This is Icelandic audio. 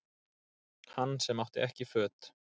Hann sem átti ekki föt